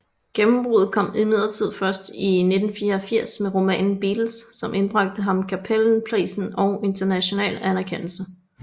Gennembruddet kom imidlertid først i 1984 med romanen Beatles som indbragte ham Cappelenprisen og international anerkendelse